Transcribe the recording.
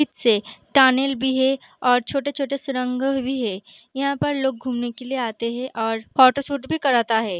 Tunnel भी है और छोटे-छोटे सुरंग भी है यहाँ पर लोग घुमने के लिए आते है और फोटोशूट भी कराता है ।